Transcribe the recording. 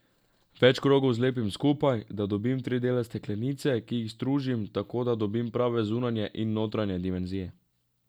Več krogov zlepim skupaj, da dobim tri dele steklenice, ki jih stružim, tako da dobim prave zunanje in notranje dimenzije.